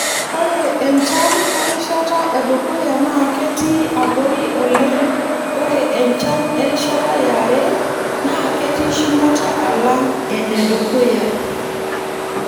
Ore enchan erishata edukuya naa ketii abori oleng ore enchan erishata yare naa ketii shumata alang enedukuya.